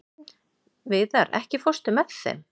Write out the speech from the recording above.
Víðar, ekki fórstu með þeim?